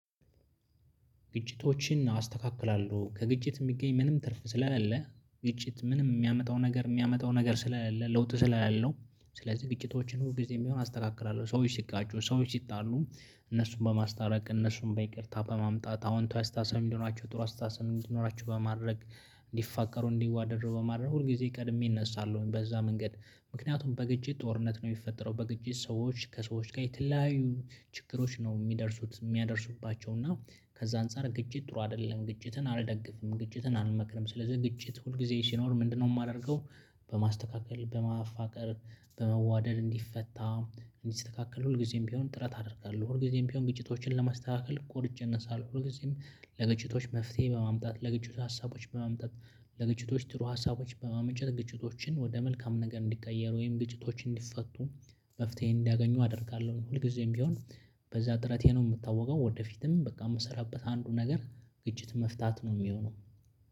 ግጭቶችን አስተካክላለሁ ከግጭት የሚገኝ ምንም ትርፍ ስለለ ግጭት ምንም የሚያመጣው ነገር የሚያመጣው ነገር ስለለ ለውጥ ስለሌለው ስለዚህ ግጭቶችን ሁልጊዜም ቢሆን አስተካክላለሁ። ሰዎች ሲጋጩ ሰዎች ሲጣሉ እነሱን በማስታረቅ እነሱን በይቅርታ በማምጣት አወንታዊ አስተሳሰብ እንዲኖራቸው ጥሩ አስተሳሰብ እንዲኖራቸው በማድረግ እንዲፋቀሩ እንዲዋደዱ በማድረግ ሁል ጊዜ ቀድሜ እነሳለሁኝ በዛ መንገድ። ምክንያቱም በግጭት ጦርነት ነው የሚፈጠረው በግጭት ሰዎች ከሰዎች ጋር የተለያዩ ችግሮች ነው የሚደርሱት የሚያደርሱባቸው እና። ከዛ አንፃር ግጭት ጥሩ አይደለም ግጭትን አልደግፍም ግጭትን አልመክርም። ስለዚህ ግጭት ሁል ጊዜ ሲኖር ምንድነው የማደርገው? በማስተካከል በማፋቀር በመዋደድ እንዲፈታ እንዲስተካከል ሁልጊዜም ቢሆን ጥረት አደርጋለሁ። ሁልጊዜም ቢሆን ግጭቶችን ለማስተካከል ቆርጬ እነሳለሁ። ሁልጊዜም ለግጭቶች መፍትሄ በማምጣት ለግጭት ሀሳቦች በመምጣት ለግጭቶች ጥሩ ሀሳቦች በማመንጨት ግጭቶችን ወደ መልካም ነገር እንዲቀየር ወይም ግጭቶች እንዲፈቱ መፍትሄን እንዲያገኙ አደርጋለሁ ሁልጊዜም ቢሆን። በዛ ጥረቴ ነው የምታወቀው። ወደፊትም በቃ የምሰራበት አንዱ ነገር ግጭት መፍታት ነው የሚሆነው።